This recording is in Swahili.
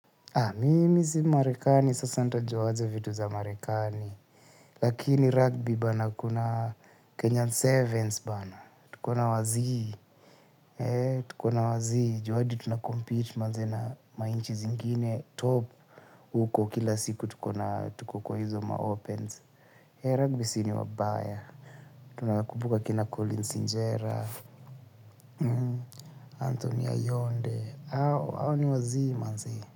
Mimi si Marekani, sasa nitajwa aje vitu vya Marekani. Lakini rugby bana, kuna Kenyan Sevens bana. Tukona wazii manze hadi tuna compete na nchi zingine top huko kila siku tuko kwa hizo ma opens. Rugby sisi ni wabaya. Tunakumbuka kina Colins injera. Anthony Ayonde. Hao ni wazii.